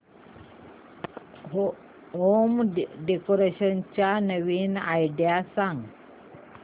home decoration च्या नवीन idea सांग